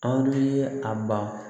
An ye a ba